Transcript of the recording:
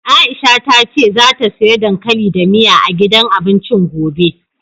Aisha ta ce zata siya dankali da miya, a gidan abincin gobe.